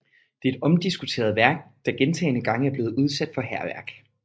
Det er et omdiskuteret værk der gentagne gange er blevet udsat for hærværk